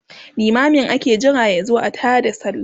limamin ake Jira yazo a taada sallah